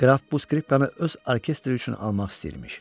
Qraf bu skripkanı öz orkestri üçün almaq istəyirmiş.